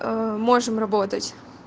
можем работать